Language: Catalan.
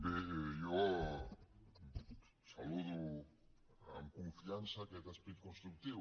bé jo saludo amb confiança aquest esperit constructiu